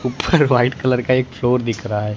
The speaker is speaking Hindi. ऊपर व्हाइट कलर का एक फ्लोर दिख रहा है।